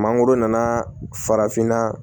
Mangoro nana farafinna